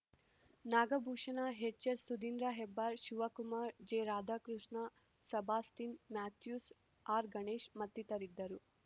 Nagabhushana ಹೆಚ್‌ಎಸ್‌ಸುಧಿಂದ್ರಹೆಬ್ಬಾರ್ Shivakumar ಜೆರಾಧಾಕೃಷ್ಣ Sebastian Mathews ಆರ್‌ಗಣೇಶ್‌ ಮತ್ತಿತರರಿದ್ದರು